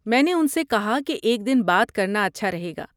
میں نے ان سے کہا کہ ایک دن بعد کرنا اچھا رہے گا۔